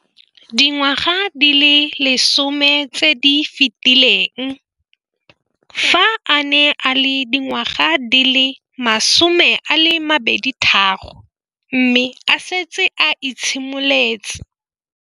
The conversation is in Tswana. Dingwaga di le 10 tse di fetileng, fa a ne a le dingwaga di le 23 mme a setse a itshimoletse